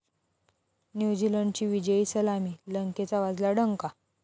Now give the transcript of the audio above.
न्युझीलंडची विजयी सलामी, लंकेचा वाजला डंका